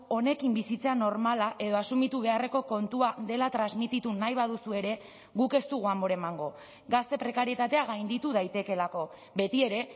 honekin bizitza normala edo asumitu beharreko kontua dela transmititu nahi baduzue ere guk ez dugu amore emango gazte prekarietatea gainditu daitekeelako betiere